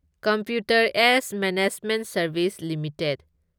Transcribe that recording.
computer age management services limited